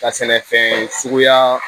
Ka sɛnɛfɛn suguya